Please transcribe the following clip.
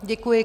Děkuji.